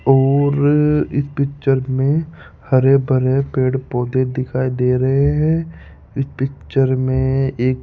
और इस पिक्चर में हरे भरे पेड़ पौधे दिखाई दे रहे हैं इस पिक्चर में एक --